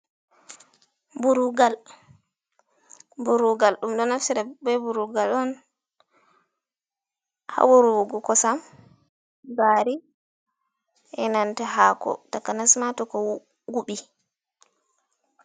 Burugal ɗum ɗo naftira be burugal on, haa wurwugo kosam ,gaari be nanta haako takanasma to ko wuɓi.